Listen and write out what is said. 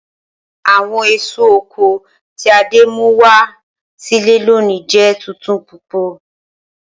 Awọn eso oko ti Ade mu wa si ile loni jẹ tuntun pupọ.